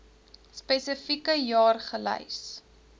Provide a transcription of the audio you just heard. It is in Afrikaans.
spesifieke jaar gelys